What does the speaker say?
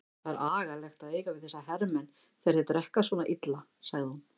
Það er agalegt að eiga við þessa hermenn þegar þeir drekka svona illa, sagði hún.